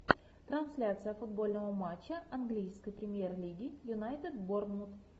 трансляция футбольного матча английской премьер лиги юнайтед борнмут